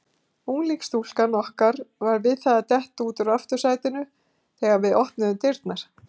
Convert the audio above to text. Unglingsstúlkan okkar var við það að detta út úr aftursætinu þegar við opnuðum dyrnar.